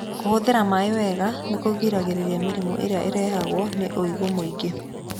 Kũhũthĩra maaĩ wega nĩ kũgiragĩrĩria mĩrimũ ĩrĩa ĩrehagwo nĩ ũigũ mũingĩ.